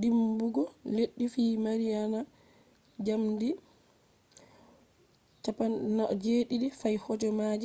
dimbugo leddi fi mariana jamdi 07:19